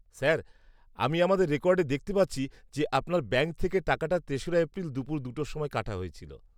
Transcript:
Sir, আমি আমাদের রেকর্ডে দেখতে পাচ্ছি যে আপনার ব্যাঙ্ক থেকে টাকাটা তেশরা এপ্রিল দুপুর দুটোর সময়ে কাটা হয়েছিল।